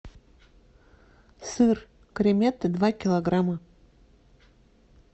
сыр креметте два килограмма